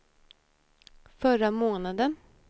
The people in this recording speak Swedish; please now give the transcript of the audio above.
förra månaden